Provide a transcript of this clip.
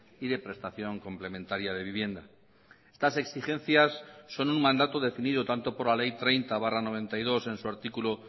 y de prestación complementaria de vivienda estas exigencias son un mandato definido tanto por la ley treinta barra noventa y dos en su artículo